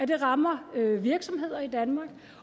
det rammer virksomheder i danmark